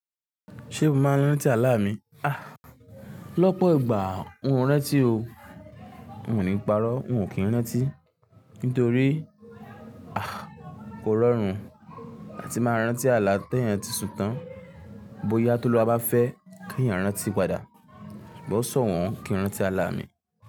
Ṣé mo máa ń rántí àlá mi? Ah lọ́pọ̀ ìgbà, un ò n rántí o. Un ò ní parọ́, un ò kí ń rántí, nítorí kò rọrùn láti máa rántí àlá teeyan ti sún tán. Bóyá Toluwa bá fẹ́ kí ẹ̀eyan rántí padà, sugbon i sowon kí ń rántí àlá mi.